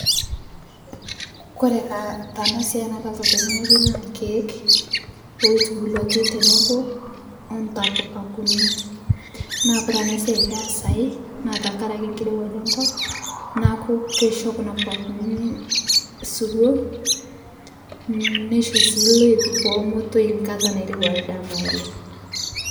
Kore taa tana siai nadolita tene ng'oji naa lkeek oitubuluaki teneboo ontapuka kunini naa kore ana siai peesai naa tankarake nkirewaj enkop naaku keisho kuna pukaa kuninii siwoo neishoo sii loip pomotoi nkata nairewa ldama oleng'.